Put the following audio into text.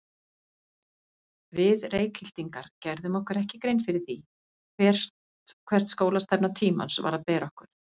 Við Reykhyltingar gerðum okkur ekki grein fyrir því, hvert skólastefna tímans var að bera okkur.